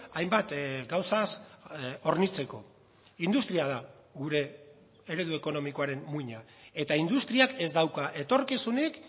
ainbat gauzaz hornitzeko industria da gure eredu ekonomikoaren muina eta industriak ez dauka etorkizunik